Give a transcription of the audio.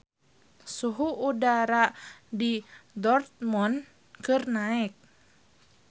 Suhu udara di Dortmund keur naek